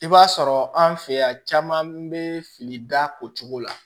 I b'a sɔrɔ an fɛ yan caman bɛ fili da o cogo la